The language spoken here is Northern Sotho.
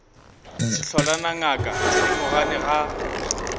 sehlola na ngaka thedimogane ga